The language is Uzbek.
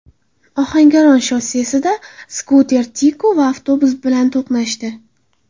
Ohangaron shossesida skuter Tico va avtobus bilan to‘qnashdi.